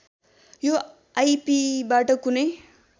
यो आइपिबाट कुनै